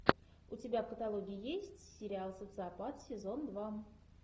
у тебя в каталоге есть сериал социопат сезон два